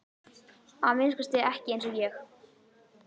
Að minnsta kosti ekki eins og ég.